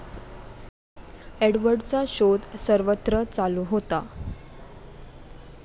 एडवर्डचा शोध सर्वत्र चालू होता.